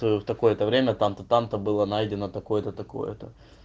в такое-то время там-то там-то было найдено такое-то такое-то